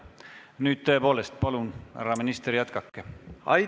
Nüüd tõepoolest, palun, härra minister, jätkake!